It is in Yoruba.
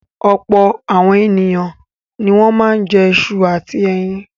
Ọ̀pọ̀ àwọn ènìyàn ni wọ́n máa ń jẹ iṣu àti ẹyin.